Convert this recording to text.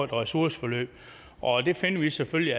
ressourceforløb og det finder vi selvfølgelig